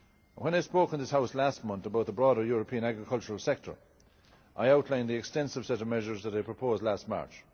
When I spoke in this House last month about the broader European agricultural sector, I outlined the extensive set of measures that I proposed last March.